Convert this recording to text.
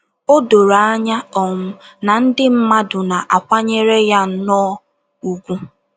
O doro anya um na ndị mmadụ na - akwanyere ya nnọọ ùgwù.